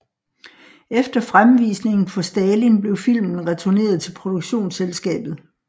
Efter fremvisningen for Stalin blev filmen returneret til produktionsselskabet